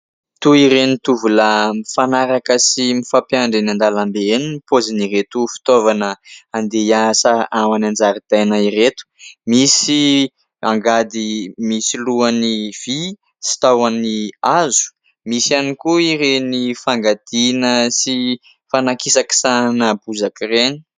Toy ireny tovolahy mifanaraka sy mifampiandry eny an-dalambe eny ny paozin'ireto fitaovana handeha hiasa any an-jaridaina ireto. Misy angady misy lohany vy, sy tahony hazo ; misy ihany koa ireny fangadiana sy fanakisakisahana bozaka ireny.